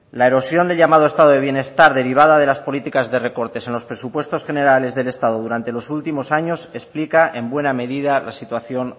la erosión del llamado estado de bienestar derivada de las políticas de recortes en los presupuestos generales del estado durante los últimos años explica en buena medida la situación